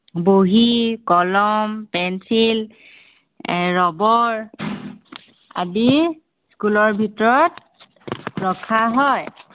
বহী, কলম পেঞ্চিল, এৰ ৰবৰ আদি school ৰ ভিতৰত ৰখা হয়।